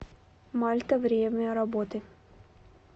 мальта время работы